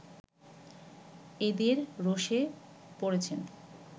এদের রোষে পড়েছেন